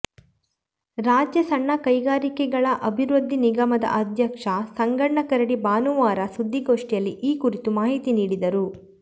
ರಾಜ್ಯ ಸಣ್ಣ ಕೈಗಾರಿಕೆಗಳ ಅಭಿವೃದ್ಧಿ ನಿಗಮದ ಅಧ್ಯಕ್ಷ ಸಂಗಣ್ಣ ಕರಡಿ ಭಾನುವಾರ ಸುದ್ದಿಗೋಷ್ಠಿಯಲ್ಲಿ ಈ ಕುರಿತು ಮಾಹಿತಿ ನೀಡಿದರು